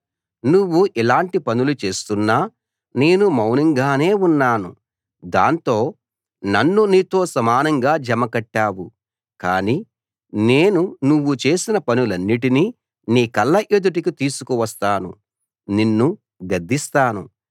నువ్వు ఇలాంటి పనులు చేస్తున్నా నేను మౌనంగానే ఉన్నాను దాంతో నన్ను నీతో సమానంగా జమ కట్టావు కానీ నేను నువ్వు చేసిన పనులన్నిటినీ నీ కళ్ళ ఎదుటికి తీసుకువస్తాను నిన్ను గద్దిస్తాను